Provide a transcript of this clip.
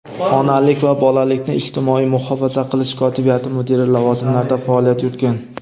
onalik va bolalikni ijtimoiy muhofaza qilish kotibiyati mudiri lavozimlarida faoliyat yuritgan.